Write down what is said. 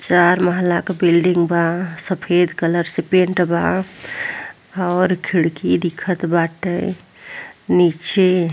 चार महला क बिल्डिंग बा। सफेद कलर से पेंट बा और खिड़की दिखत बाटे। नीचे --